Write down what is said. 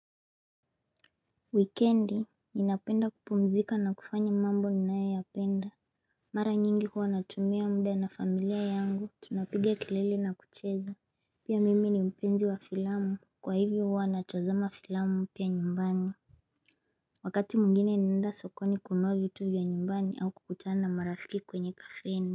Wikendi, ninapenda kupumzika na kufanya mambo ninayoyapenda Mara nyingi huwa natumia muda na familia yangu, tunapiga kelele na kucheza Pia mimi ni mpenzi wa filamu, kwa hivyo huwa natazama filamu pia nyumbani Wakati mwingine ninaenda sokoni kununua vitu vya nyumbani au kukutana na marafiki kwenye kafeni.